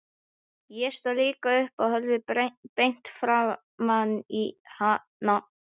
Ég stóð líka upp og horfði beint framan í hana.